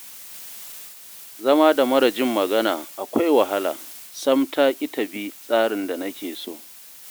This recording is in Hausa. Zama da mara jin magana akwai wahala, sam ta ƙi ta bi tsarin da nake so